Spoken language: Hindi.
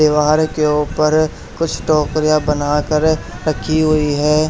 दीवार के ऊपर कुछ टोकरियां बनाकर रखी हुई हैं।